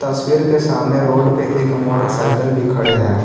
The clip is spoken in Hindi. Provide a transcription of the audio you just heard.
तस्वीर के सामने रोड पे एक मोटर साइकिल भी खड़े है।